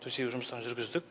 төсеу жұмыстарын жүргіздік